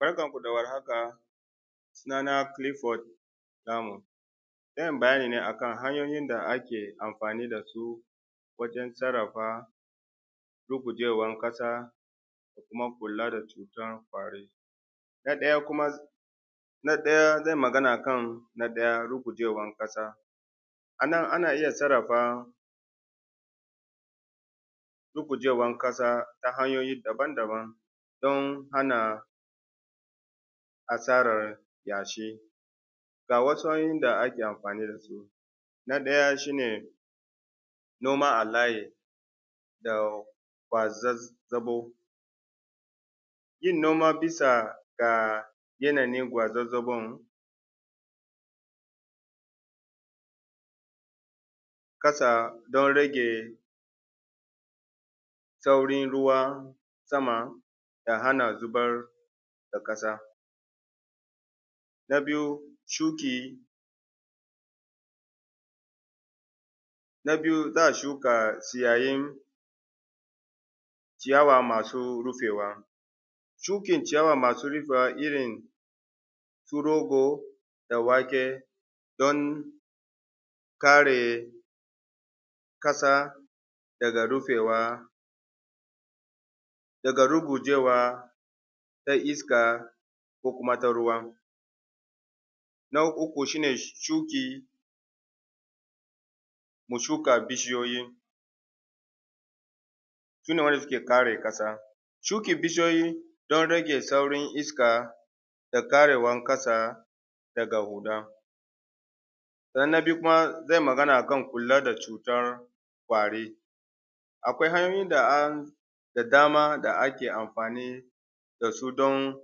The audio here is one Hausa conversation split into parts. Barkanku da warhaka sunana Kilifod Lamu zan yi bayani ne kan hanyoyin da ake anfani da su wajen sarrfa rugujewan ƙasa da kuma kula da cutan ƙwari. Na ɗaya zan yi magana akan na ɗaya rugujewan ƙasa, a nan ana iya sarrfa rugujewan ƙasa ta hanyoyi daban-daban don hana asarar yashi, ga wasu hanyoyin da ake amfani da su na ɗaya shi ne noma a layi da kwazazzabau, yin noma bisa ga yanayin gwaazzagaw ƙasa don rage saurin ruwa sama da hana zubar da ƙasa. Na biyu shuki na biyu za a shuka ciyayin ciya masu ruɓewa, shukin ciyawa masu ribewa irin su rogo da wake don kare ƙasa daga rufewa daga rugujewa na iska ko kuma ta ruwa. Na uku shi ne shuki mu shuka bishiyoyi shi ne waɗannam suke kare ƙasa shukin bishiyoyi don rage sauran iska da karewan ƙasa daga huɗa na biyu kuma zanyi Magana akan kula da cutan kwari akwai hanyoyin da dama da ake amfani da su don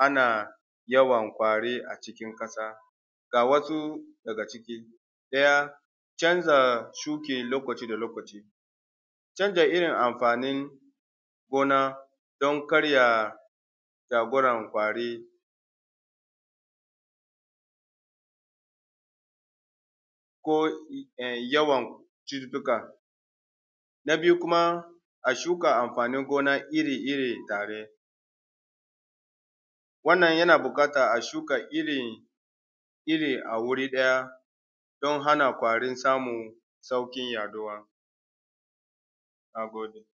hana yawan kwari a cikin ƙasa. Ga wasu daga ciki ɗaya canza shuki lokaci-lokaci, canza irin amfanin gona don karya takuran kwari ko yawan cututtuka, na biyu kuma a shuka amfani gona iri tare wannan yana buƙatan a shuka irin iri a wurin ɗaya don hana kwari samun haɗuwa. Na gode.